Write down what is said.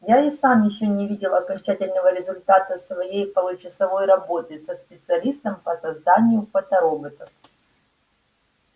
я и сам ещё не видел окончательного результата своей получасовой работы со специалистом по созданию фотороботов